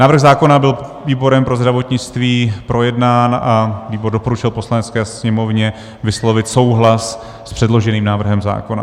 Návrh zákona byl výborem pro zdravotnictví projednán a výbor doporučil Poslanecké sněmovně vyslovit souhlas s předloženým návrhem zákona.